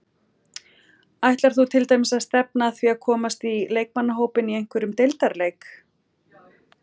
Ætlar þú til dæmis að stefna að því að komast í leikmannahópinn í einhverjum deildarleik?